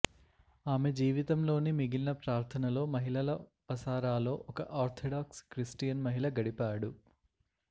ఆమె జీవితంలోని మిగిలిన ప్రార్థనలో మహిళల వసారాలో ఒక ఆర్థడాక్స్ క్రిస్టియన్ మహిళ గడిపాడు